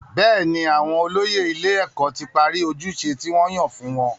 Bẹ́ẹ̀ni, àwọn olóyè ilé-ẹ̀kọ́ ti parí ojúṣe tí wọ́n yàn fún wọn.